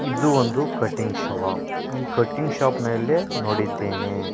ಇದು ಒಂದು cutting shop ಈ ಕಟಿಂಗ್ ಶಾಪ್ ನಲ್ಲೆ ನೋಡಿದ್ದೇನೆ.